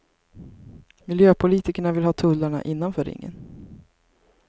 Miljöpolitikerna vill ha tullarna innanför ringen.